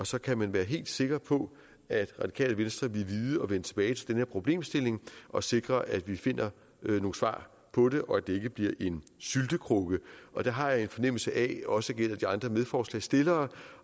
så kan man være helt sikker på at radikale venstre vil vide at vende tilbage til den her problemstilling og sikre at vi finder nogle svar på det og at det ikke bliver en syltekrukke og det har jeg en fornemmelse af også gælder de andre medforslagsstillere